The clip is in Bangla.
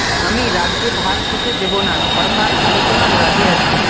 আমি রাজ্য ভাগ হতে দেব না সরকার আলোচনায় রাজি আছে